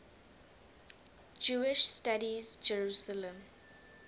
jewish studies jerusalem